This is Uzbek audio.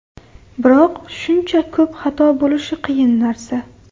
Biroq shuncha ko‘p xato bo‘lishi qiyin narsa.